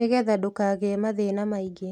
Nĩ getha ndũkagĩe mathĩna maingĩ